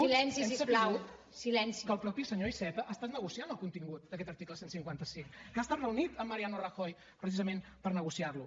hem sabut que el mateix senyor iceta ha estat negociant el contingut d’aquest article cent i cinquanta cinc que ha estat reunit amb mariano rajoy precisament per negociar lo